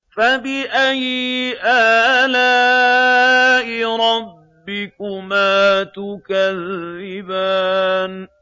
فَبِأَيِّ آلَاءِ رَبِّكُمَا تُكَذِّبَانِ